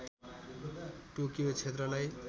Tokyo क्षेत्रलाई